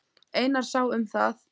Einar sá um það.